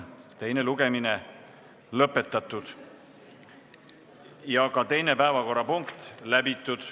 Teine lugemine on lõpetatud ja 2. päevakorrapunkt läbitud.